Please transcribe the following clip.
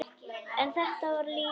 En þetta var líka sukk.